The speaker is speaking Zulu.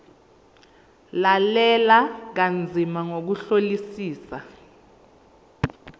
lalela kanzima ngokuhlolisisa